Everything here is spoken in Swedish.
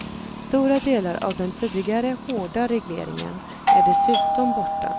Stora delar av den tidigare hårda regleringen är dessutom borta.